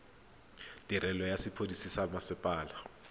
tirelo ya sepodisi sa mmasepala